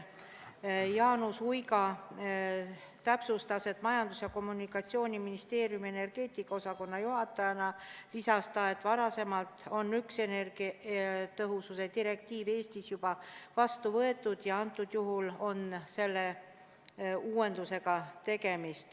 Jaanus Uiga Majandus- ja Kommunikatsiooniministeeriumi energeetika osakonna juhatajana lisas, et varem on üks energiatõhususe direktiiv Eestis juba vastu võetud ja antud juhul on tegemist selle uuendusega.